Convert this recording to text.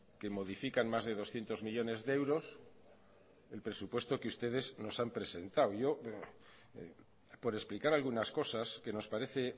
que modifican más de doscientos millónes de euros el presupuesto que ustedes nos han presentado yo por explicar algunas cosas que nos parece